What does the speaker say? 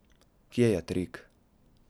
Kje je trik?